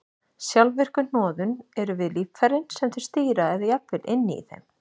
Sjálfvirku hnoðun eru við líffærin sem þau stýra eða jafnvel inni í þeim.